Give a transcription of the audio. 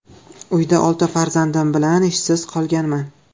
Uyda olti farzandim bilan ishsiz qolganman.